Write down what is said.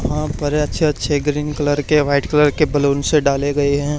हाँ पर अच्छे अच्छे ग्रीन कलर के व्हाइट कलर के बलूसं डाले गए हैं।